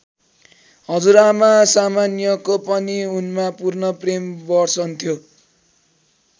हजुरआमा सामान्याको पनि उनमा पूर्ण प्रेम बर्सन्थ्यो।